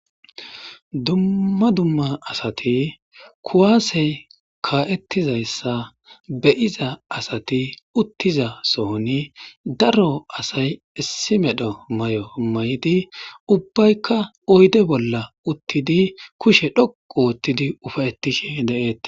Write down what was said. Duma duma asati kuwase ka'etizaysa be'za asati utiza sohoni daro asay issi medho may'o maydi ubayika oyde bolan utidi kushe dhoqu othidi ufaytishe de'etes.